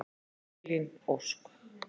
Elín Ósk.